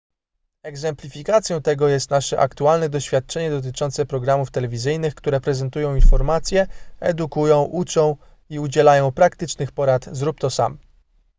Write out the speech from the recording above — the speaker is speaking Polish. egzemplifikacją tego jest nasze aktualne doświadczenie dotyczące programów telewizyjnych które prezentują informacje edukują uczą i udzielają praktycznych porad zrób to sam”